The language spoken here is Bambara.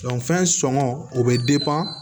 fɛn sɔngɔ o bɛ